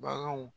Baganw